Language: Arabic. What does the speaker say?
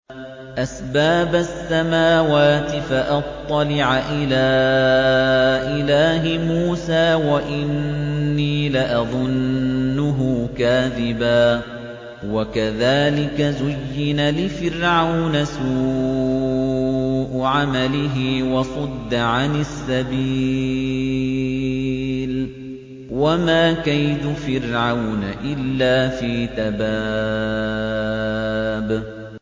أَسْبَابَ السَّمَاوَاتِ فَأَطَّلِعَ إِلَىٰ إِلَٰهِ مُوسَىٰ وَإِنِّي لَأَظُنُّهُ كَاذِبًا ۚ وَكَذَٰلِكَ زُيِّنَ لِفِرْعَوْنَ سُوءُ عَمَلِهِ وَصُدَّ عَنِ السَّبِيلِ ۚ وَمَا كَيْدُ فِرْعَوْنَ إِلَّا فِي تَبَابٍ